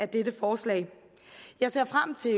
dette forslag jeg ser frem til